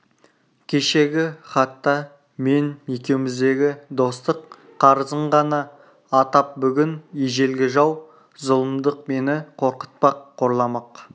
кешегі хатта мен екеуміздегі достық қарызын ғана атап бүгін ежелгі жау зұлымдық мені қорқытпақ қорламақ